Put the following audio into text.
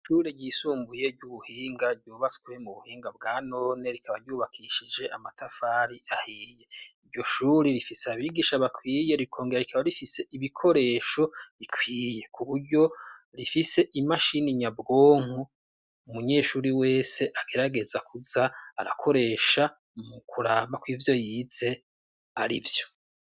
Ishure ryisumbuye ry'ubuhinga ryubaswe mu buhinga bwa none; rikaba ryubakishije amatafari ahiye. Iryo shuri rifise abigisha bakwiye, rikongera rikaba rifise ibikoresho bikwiye ; ku buryo rifise imashini nyabwonko umunyeshuri wese agerageza kuza arakoresha mu kuraba ko ivyo yize ari vyo.